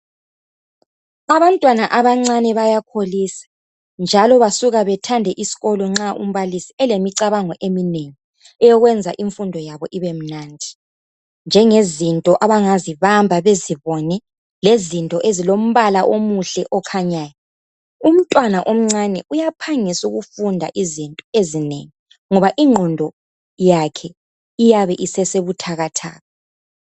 Abantwana abancane bayakholisa, njalo basuka bethande isikolo nxa umbalisi elemicabango eminengi, eyokwenza imfundo yabo ibemnandi. Njengezinto abangazibamba, bezibone. Lezinto ezilombala omuhle, okhanyayo. Umntwana omncane uyaphangisa ukufunda izinto ezinengi, ngoba lengqondo yakhe, iyabe isesebuthakathaka.